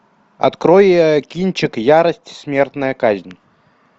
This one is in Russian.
открой кинчик ярость смертная казнь